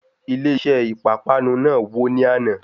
Ilé iṣé ìpápánu náà wò ní àná.